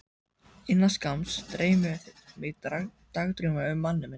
Innan skamms dreymir mig dagdrauma um manninn minn.